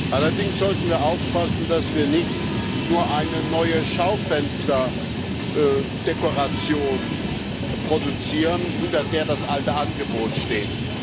Allerdings sollten wir aufpassen, dass wir nicht nur eine neue Schaufensterdekoration produzieren, hinter der das alte Angebot steht.